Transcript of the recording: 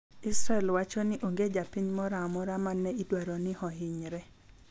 Israel wachoni onge japiny moro amora mane idwaro ni ohinyre.